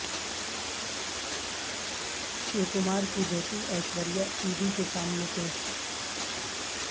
شیو کمار کی بیٹی ایشوریہ ای ڈی کے سامنے پیش